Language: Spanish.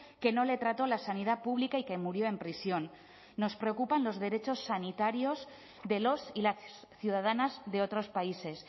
que no le trató la sanidad pública y que murió en prisión nos preocupan los derechos sanitarios de los y las ciudadanas de otros países